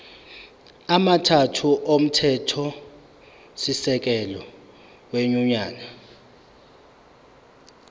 amathathu omthethosisekelo wenyunyane